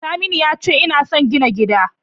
Saminu yace ina son gina gida.